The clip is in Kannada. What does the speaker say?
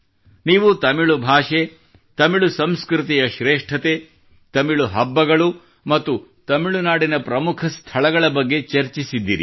ನೀವು ತಮಿಳು ಭಾಷೆ ತಮಿಳು ಸಂಸ್ಕೃತಿಯ ಶ್ರೇಷ್ಠತೆ ತಮಿಳು ಹಬ್ಬಗಳು ಮತ್ತು ತಮಿಳು ನಾಡಿನ ಪ್ರಮುಖ ಸ್ಥಳಗಳ ಬಗ್ಗೆ ಚರ್ಚಿಸಿದ್ದೀರಿ